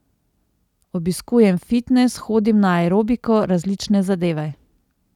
Obiskujem fitnes, hodim na aerobiko, različne zadeve.